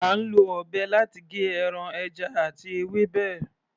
À ń lọ ọ̀bẹ láti gé ẹran, ẹja àti ewébẹ̀.